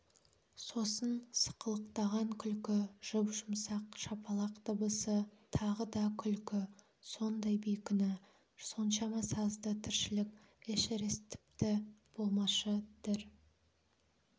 сосын сықылықтаған күлкі жұп-жұмсақ шапалақ дыбысы тағы да күлкі сондай бейкүнә соншама сазды тіршілік эшерест тіпті болмашы дір